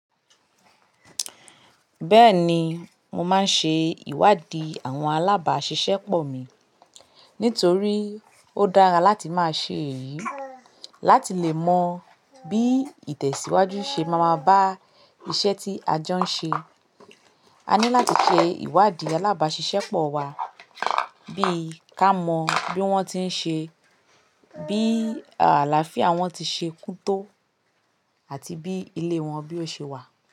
Bẹ́ẹ̀ni, mo máa ń ṣe ìwádìí àwọn alábàáṣiṣẹ́pọ̀ mi. Nítorí ó dára láti máa ṣe èyí láti lè mọ bí ìtẹ̀síwájú ṣe máa ma bá iṣẹ́ tí a jọ ń ṣe. A ní láti ṣe ìwádìí alábàáṣiṣẹ́pọ̀ wa bí ká mọ bí wọ́n ti ń ṣe, bí àlàáfíà wọn ti ṣe kún tó àti bí ilé wọn bí ó ṣe wà.